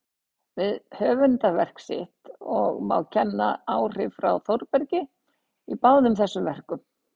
við höfundarverk sitt, og má kenna áhrif frá Þórbergi í báðum þessum verkum.